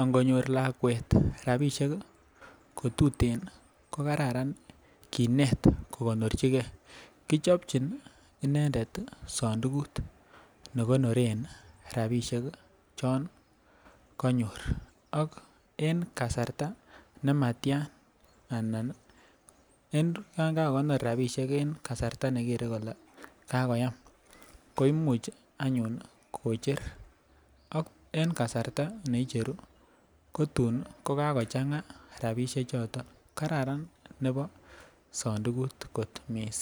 ankot nyor lakwet rabishek kotuten ko Kararan kinet kokonorchigee kochopchin inendet sondukut nekinoren rabishek chon konyor ak en kasarta nematyan ana en yon kakokonor rabishek en kasarta nekere kole kakoyam koimuch anyun kocher ak en kasarta neicheru kotun kokakochanga rabishek choton. Kararan nebo sondukut kot missing.